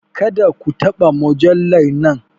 Kada ka taba mujallar nan!